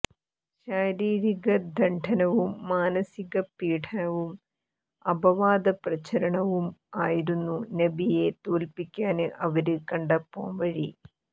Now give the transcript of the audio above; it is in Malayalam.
ശാരീരിക ദണ്ഡനവും മാനസിക പീഡനവും അപവാദ പ്രചാരണവും ആയിരുന്നു നബിയെ തോല്പ്പിക്കാന് അവര് കണ്ട പോംവഴി